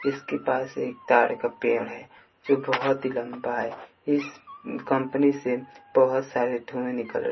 इसके पास एक ताड़ का पेड़ है जो बहोत ही लंबा है इस कंपनी से बहोत सारे धुएं निकल--